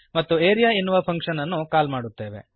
ಮತ್ತು ಆರಿಯಾ ಎನ್ನುವ ಫಂಕ್ಶನ್ ಅನ್ನು ಕಾಲ್ ಮಾಡುತ್ತೇವೆ